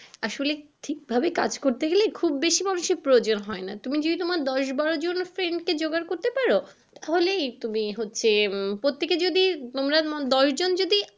আসলে ঠিক ভাবে কাজ করতে গেলে খুব বেশি মানুষের প্রয়োজন হয় না তুমি যদি তোমার দশ বারো জন friend কে জোগাড় করতে পারো তাহলেই তুমি হচ্ছে হম প্রত্যেকে যদি তোমরা দশ জন যদি।